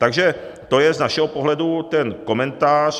Takže to je z našeho pohledu ten komentář.